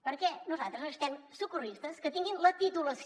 perquè nosaltres necessitem socorristes que tinguin la titulació